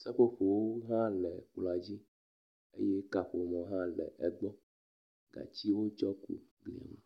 Seƒoƒowo hã le kplɔa dzi eye kaƒomɔ hã le egbɔ. Gatsi wotsɔ kui kplii.